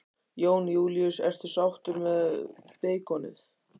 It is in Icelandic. Jón Júlíus: Ertu sáttur með beikonið?